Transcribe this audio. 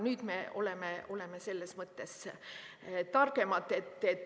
Nüüd me oleme selles mõttes targemad.